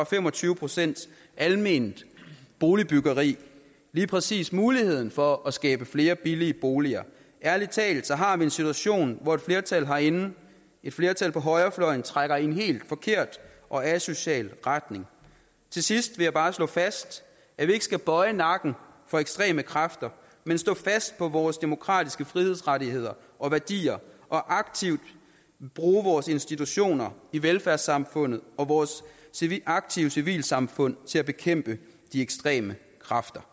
fem og tyve procent alment boligbyggeri lige præcis modvirker muligheden for at skabe flere billige boliger ærlig talt har vi en situation hvor et flertal herinde et flertal på højrefløjen trækker i en helt forkert og asocial retning til sidst vil jeg bare slå fast at vi ikke skal bøje nakken for ekstreme kræfter men stå fast på vores demokratiske frihedsrettigheder og værdier og aktivt bruge vores institutioner i velfærdssamfundet og vores aktive civilsamfund til at bekæmpe de ekstreme kræfter